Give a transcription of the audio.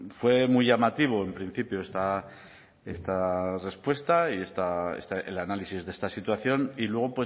fue muy llamativo en principio esta respuesta y el análisis de esta situación y luego